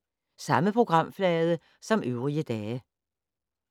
Samme programflade som øvrige dage